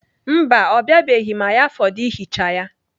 Mba, ọ biabeghị ma ya fọdụ ihicha ya.